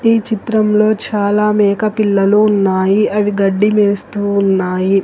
ఈ చిత్రంలో చాలా మేకపిల్లలు ఉన్నాయి అవి గడ్డి మేస్తూ ఉన్నాయి.